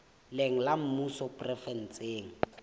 leng la mmuso le provenseng